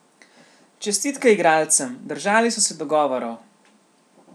Čestitke igralcem, držali so se dogovorov.